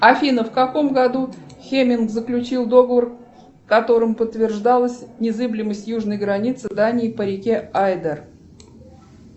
афина в каком году хеминг заключил договор в котором подтверждалась незыблемость южной границы дании по реке айдер